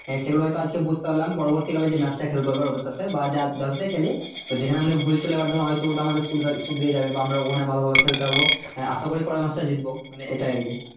সেগুলো হয় তো আজকে বুঝতে পারলাম পরবর্তী কালে যে match টা খেলবো এবার ওদের সঙ্গে বা যা যাদের সাথেই খেলি তো যেখানে আমাদের ভুল ছিল এবার ধরো হয় তো ওটা আমাদের শুধরে শুধরে যাবে বা আমরা ওখানে ভালো ভাবে খেলতে পারবো আহ আশাকরি পরের match টাই জিতবো মানে এটাই আরকি